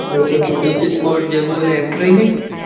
turiest જેવુંને એવું કાંઈ નઈ